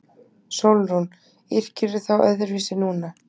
SÓLRÚN: Yrkirðu þá öðruvísi núna?